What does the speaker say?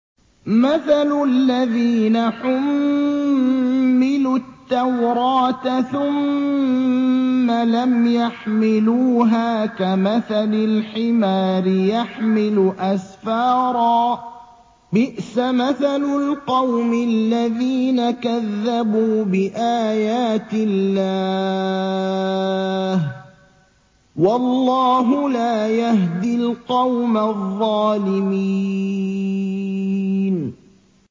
مَثَلُ الَّذِينَ حُمِّلُوا التَّوْرَاةَ ثُمَّ لَمْ يَحْمِلُوهَا كَمَثَلِ الْحِمَارِ يَحْمِلُ أَسْفَارًا ۚ بِئْسَ مَثَلُ الْقَوْمِ الَّذِينَ كَذَّبُوا بِآيَاتِ اللَّهِ ۚ وَاللَّهُ لَا يَهْدِي الْقَوْمَ الظَّالِمِينَ